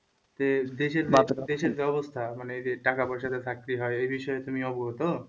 দেশের যে দেশের যে অবস্থা মানে এই যে টাকা পয়সা দিয়ে চাকরি হয় এই বিষয়ে তুমি অবগত?